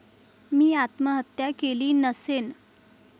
मी आत्महत्या केली नसेन.